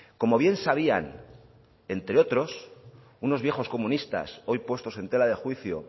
como bien sabían entre otros unos viejas comunistas hoy puestos en tela de juicio